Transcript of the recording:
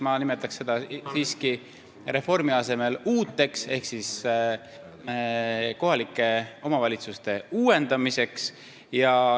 Mina nimetaks seda reformi asemel uuteks ehk kohalike omavalitsuste uuendamiseks.